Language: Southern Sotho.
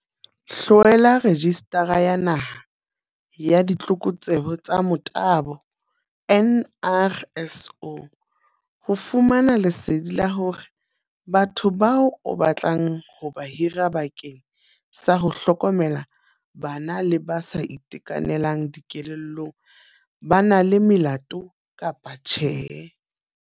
Hlwela rejisitara ya Naha ya Ditlokotsebe tsa Motabo, NRSO, ho fumana lesedi la hore batho bao o batlang ho ba hira bakeng sa ho hlokomela bana le ba sa itekanelang dikelellong ba na le melato kapa tjhe.